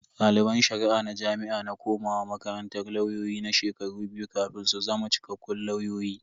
Daliban Shari'a na jami'a na komawa makarantar lauyoyi na shekaru biyu kafin su zama cikakkun lauyoyi.